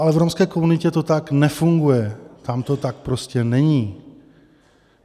Ale v romské komunitě to tak nefunguje, tam to tak prostě není.